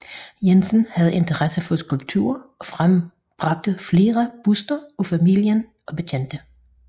Jensen havde interesse for skulpturer og frembragte flere burster af familier og bekendte